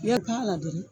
I ye k'a la dɔrɔn